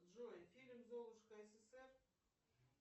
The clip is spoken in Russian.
джой фильм золушка ссср